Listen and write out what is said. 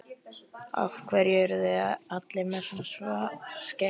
Af hverju eruð þið allir með svona skegg?